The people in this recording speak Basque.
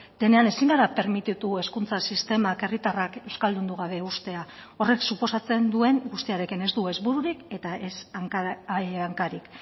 denean ezin gara permititu hezkuntza sistemak herritarrak euskaldundu gabe uztea horrek suposatzen duen guztiarekin ez du ez bururik eta ez hankarik